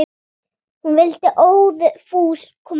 Hún vildi óðfús koma með.